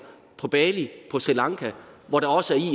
på bali og på sri lanka hvor der også